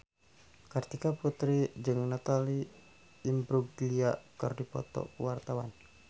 Kartika Putri jeung Natalie Imbruglia keur dipoto ku wartawan